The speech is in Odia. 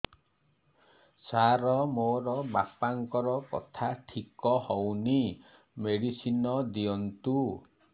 ସାର ମୋର ବାପାଙ୍କର କଥା ଠିକ ହଉନି ମେଡିସିନ ଦିଅନ୍ତୁ